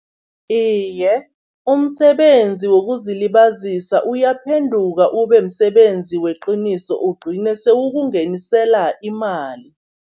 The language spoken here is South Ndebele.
Iye, umsebenzi wokuzilibazisa uyaphenduka ube msebenzi weqiniso, ugcine sewukungenisela imali.